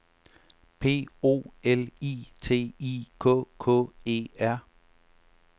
P O L I T I K K E R